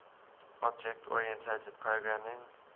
object oriented programming